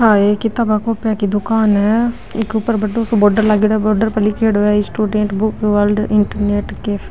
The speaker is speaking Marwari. आ एक किताबे कोपिया की दुकान है इके ऊपर बड़ो सो बोर्डर लागेडो है बोर्डर पर लीखेड़ो है student book ward internet cafe.